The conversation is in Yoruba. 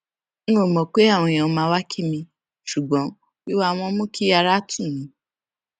n ò mọ pé àwọn èèyàn máa wá kí mi ṣùgbón wíwá wọn mú kí ara tù mí